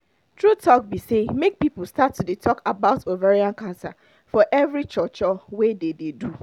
true talk be say make people start to dey talk about ovarian cancer for every cho cho wey dey dey do